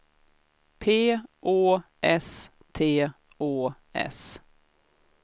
P Å S T Å S